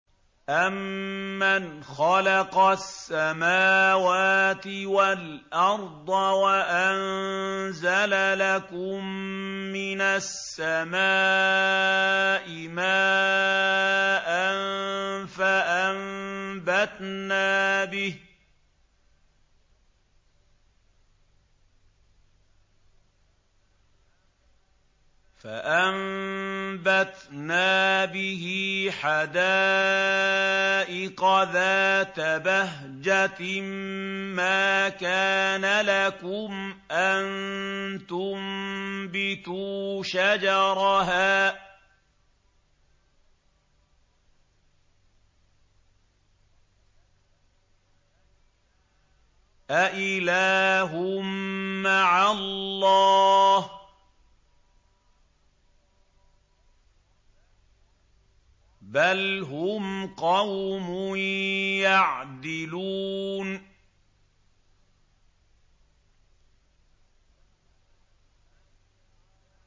أَمَّنْ خَلَقَ السَّمَاوَاتِ وَالْأَرْضَ وَأَنزَلَ لَكُم مِّنَ السَّمَاءِ مَاءً فَأَنبَتْنَا بِهِ حَدَائِقَ ذَاتَ بَهْجَةٍ مَّا كَانَ لَكُمْ أَن تُنبِتُوا شَجَرَهَا ۗ أَإِلَٰهٌ مَّعَ اللَّهِ ۚ بَلْ هُمْ قَوْمٌ يَعْدِلُونَ